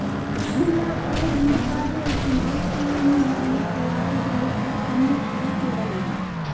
జిల్లాకు రెండుసార్లు వచ్చిన పీఎం మోడీ కూడా ఇటువైపు కన్నేత్తి చూడలేదు